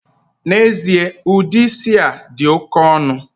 Na-ezie, udi isi a di oke onu.